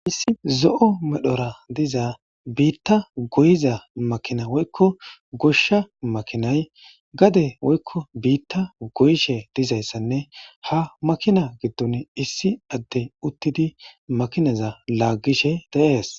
Issi zo'o medhora diza biitta goyiza makina woykko goshsha makinay gade woykko biitta goyishe dizayssanne hamakina giddon issi adde uttidi makinaza laaggishe deees.